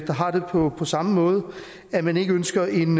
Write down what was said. har det på samme måde at man ikke ønsker en